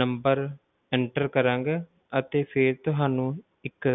Number enter ਕਰਾਂਗੇ ਅਤੇ ਫਿਰ ਤੁਹਾਨੂੰ ਇੱਕ